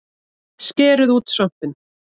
Skerið út svampinn